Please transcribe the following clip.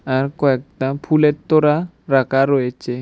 আর কয়েকটা ফুলের তোরা রাখা রয়েচে।